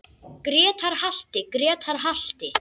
Grétar halti, Grétar halti!